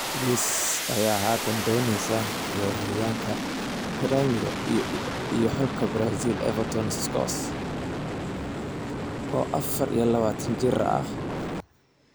Blues ayaa haatan dooneysa weeraryahanka Gremio iyo xulka Brazil Everton Soares, oo afar iyo labatan jir ah.